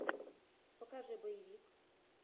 покажи боевик